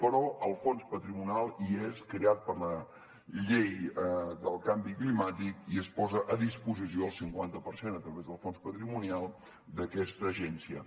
però el fons patrimonial hi és creat per la llei del canvi climàtic i es posa a disposició al cinquanta per cent a través del fons patrimonial d’aquesta agència